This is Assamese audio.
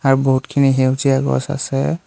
আ বহুতখিনি সেউজীয়া গছ আছে।